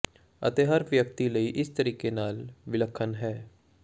ਅਤੇ ਹਰ ਵਿਅਕਤੀ ਲਈ ਇਸ ਤਰੀਕੇ ਨਾਲ ਵਿਲੱਖਣ ਹੈ